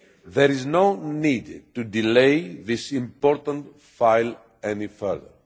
There is no need to delay this important file any further.